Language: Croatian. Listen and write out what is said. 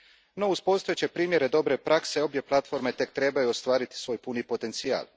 No, uz postojeće primjere dobre prakse, obje platforme tek trebaju ostvariti svoj puni potencijal.